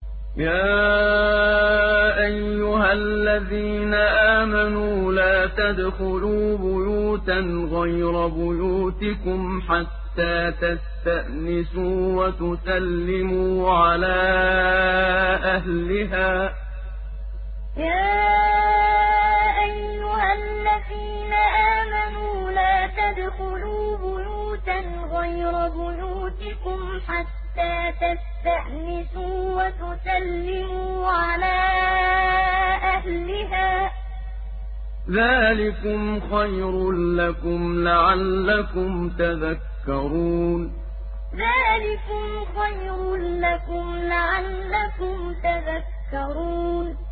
يَا أَيُّهَا الَّذِينَ آمَنُوا لَا تَدْخُلُوا بُيُوتًا غَيْرَ بُيُوتِكُمْ حَتَّىٰ تَسْتَأْنِسُوا وَتُسَلِّمُوا عَلَىٰ أَهْلِهَا ۚ ذَٰلِكُمْ خَيْرٌ لَّكُمْ لَعَلَّكُمْ تَذَكَّرُونَ يَا أَيُّهَا الَّذِينَ آمَنُوا لَا تَدْخُلُوا بُيُوتًا غَيْرَ بُيُوتِكُمْ حَتَّىٰ تَسْتَأْنِسُوا وَتُسَلِّمُوا عَلَىٰ أَهْلِهَا ۚ ذَٰلِكُمْ خَيْرٌ لَّكُمْ لَعَلَّكُمْ تَذَكَّرُونَ